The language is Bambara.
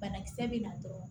Banakisɛ bɛ na dɔrɔn